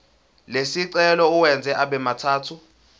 lesicelo uwenze abemathathu